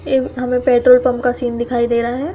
ये हमे petrol pump का सीन दिखाई दे रहा है।